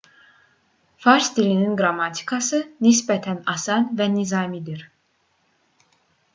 fars dilinin qrammatikası nisbətən asan və nizamidir